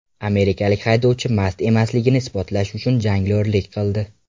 Amerikalik haydovchi mast emasligini isbotlash uchun jonglyorlik qildi .